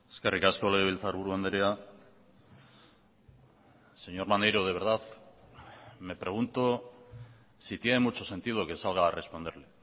eskerrik asko legebiltzarburu andrea señor maneiro de verdad me pregunto si tiene mucho sentido que salga a responderle